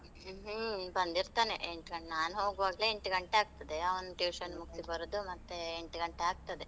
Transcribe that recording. ಹ್ಮ್ ಬಂದಿರ್ತನೆ, ಎಂಟ್ ಗಂಟೆಗೆ, ನಾನ್ ಹೋಗುವಾಗ್ಲೇ ಎಂಟ್ ಗಂಟೆ ಆಗ್ತದೆ, ಅವ್ನು tuition ಮುಗ್ಸಿ ಬರುದು ಮತ್ತೆ ಎಂಟ್ ಗಂಟೆ ಆಗ್ತದೆ.